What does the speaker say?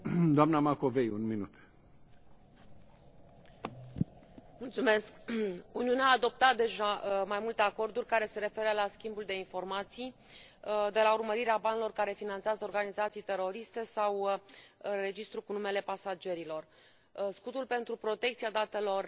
Domnule președinte, Uniunea a adoptat deja mai multe acorduri care se referă la schimbul de informații, de la urmărirea banilor care finanțează organizații teroriste sau registrul cu numele pasagerilor. Scutul pentru protecția datelor